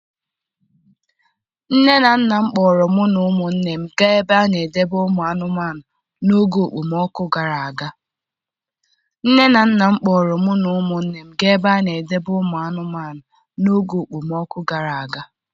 Nne na nna m kpọọrọ mụ na ụmụnne m gaa ebe a na-edebe ụmụ anụmanụ n'oge okpomọkụ gara aga.